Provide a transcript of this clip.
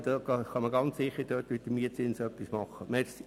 Dort kann man ganz sicher mit dem Mietzins etwas machen.